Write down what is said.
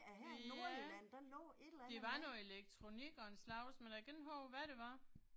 Ja. Det var noget elektronik af en slags, men jeg kan ikke huske, hvad det var